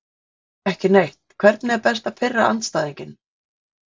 Nei, ekki neitt Hvernig er best að pirra andstæðinginn?